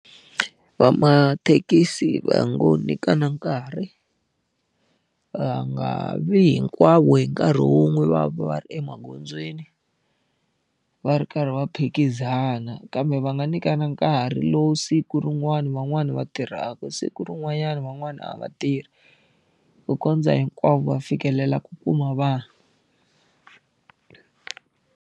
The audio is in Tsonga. Va mathekisi va ngo nyikana nkarhi, va nga vi hinkwavo hi nkarhi wun'we va va va ri emagondzweni, va ri karhi va phikizana. Kambe va nga nyikana nkarhi lowu siku rin'wani van'wani va tirhaka siku rin'wanyana van'wana a va tirhi. Ku kondza hinkwavo va fikelela ku kuma vanhu.